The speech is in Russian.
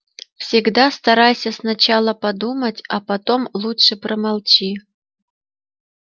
всегда старайся сначала подумать а потом лучше промолчи